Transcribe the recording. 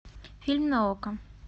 фильм на окко